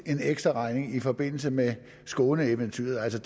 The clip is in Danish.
en ekstraregning i forbindelse med skåneeventyret altså